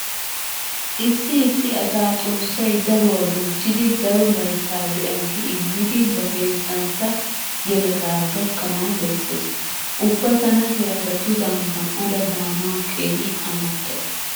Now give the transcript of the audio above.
Issi issi asaa xoossay daruwa bonchchidi daro layttaa de'a gi immidi ba heezzantta yeletaa gakkanawu bessees. Ubba tana he asatudan gam"ada daanawu keehi amottays.